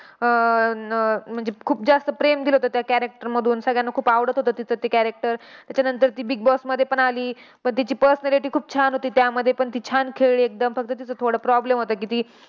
अह अं म्हणजे खूप जास्त प्रेम दिलं होतं त्या character मधून. सगळ्यांना खूप आवडत होतं तिचं ते character. त्याच्यानंतर ती बिग बॉसमध्ये पण आली. पण तिची personality खूप छान होती. त्यामध्ये पण ती छान खेळली एकदम. फक्त तिचा थोडा problem होता की, ती